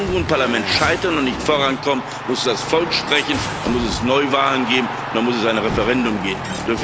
Wenn Regierung und Parlament scheitern und nicht vorankommen, muss das Volk sprechen, muss es Neuwahlen geben, muss es ein Referendum geben.